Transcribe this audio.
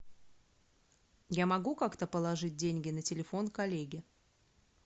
я могу как то положить деньги на телефон коллеги